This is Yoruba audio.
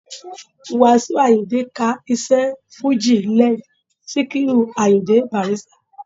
Wàsíù Àyìndé ka iṣẹ́ fújì led Síkírù Àyìndé Bàrístà